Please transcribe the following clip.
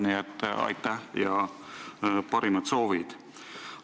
Nii et aitäh ja parimad soovid!